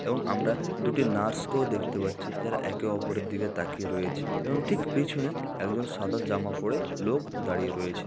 এবং আমরা দুটি নার্সকেও দেখতে পাচ্ছি যারা একে অপরের দিকে তাকিয়ে রয়েছে এবং ঠিক পিছনে একজন সাদা জামা পড়ে লোক দাঁড়িয়ে রয়েছে।